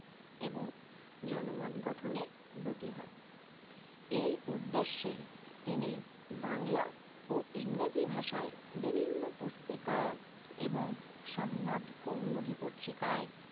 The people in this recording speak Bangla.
এবং জনমত গঠনে ব্রতী হন। এই উদ্দেশ্যে তিনি বাংলা ও ইংরেজি ভাষায় বিভিন্ন পুস্তিকা এবং সম্বাদ কৌমুদী পত্রিকায়